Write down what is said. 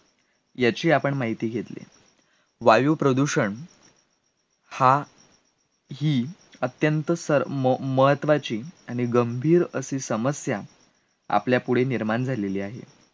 याची आपण माहिती घेतली वायुप्रदूषण हा ही अत्यंत सर म म महत्वाची आणि गंभीर अशी समस्या, आपल्यापुढे निर्माण झालेली आहे